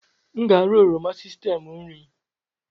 M ga-ara oroma sistemu nri m.